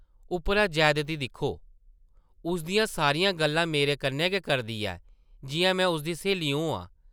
उप्परा जैदती दिक्खो ! उसदियां सारियां गल्लां मेरे कन्नै गै करदी ऐ, जिʼयां में उसदी स्हेली होआं ।